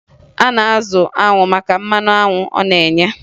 A na-azụ anwụ maka mmanụ anwụ ọ na-enye